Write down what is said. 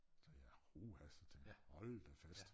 Sagde jeg uha hold da fast